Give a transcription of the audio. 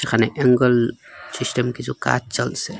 এখানে angle system কিছু কাজ চলসে ।